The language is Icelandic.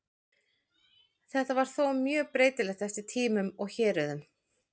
Þetta var þó mjög breytilegt eftir tímum og héruðum.